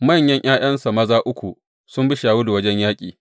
Manyan ’ya’yansa maza uku, sun bi Shawulu wajen yaƙi.